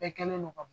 Bɛɛ kɛlen don ka